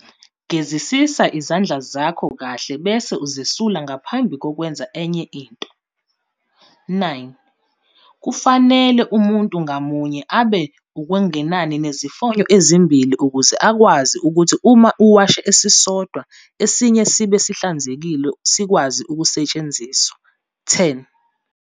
Gezisisa izandla zakho kahle bese uzisula ngaphambi kokwenza enye into. 9. Kufanele umuntu ngamunye abe okungenani nezifonyo ezimbili ukuze ukwazi ukuthi uma uwashe esisodwa esinye sibe sihlanzekile sikwazi ukusetshenziswa. 10.